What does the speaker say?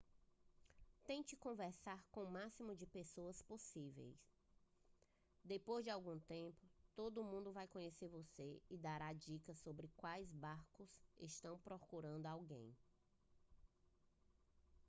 tente conversar com o máximo de pessoas possível depois de algum tempo todo mundo vai conhecer você e dará dicas sobre quais barcos estão procurando alguém